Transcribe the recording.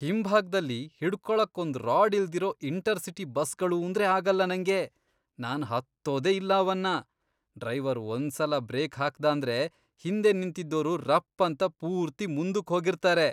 ಹಿಂಭಾಗ್ದಲ್ಲಿ ಹಿಡ್ಕೊಳಕ್ ಒಂದ್ ರಾಡ್ ಇಲ್ದಿರೋ ಇಂಟರ್ ಸಿಟಿ ಬಸ್ಗಳೂಂದ್ರೇ ಆಗಲ್ಲ ನಂಗೆ, ನಾನ್ ಹತ್ತೋದೇ ಇಲ್ಲ ಅವನ್ನ. ಡ್ರೈವರ್ ಒಂದ್ಸಲ ಬ್ರೇಕ್ ಹಾಕ್ದಾಂದ್ರೆ ಹಿಂದೆ ನಿಂತಿದ್ದೋರು ರಪ್ಪಂತ ಪೂರ್ತಿ ಮುಂದುಕ್ ಹೋಗಿರ್ತಾರೆ.